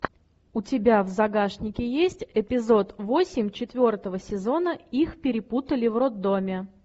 у тебя в загашнике есть эпизод восемь четвертого сезона их перепутали в роддоме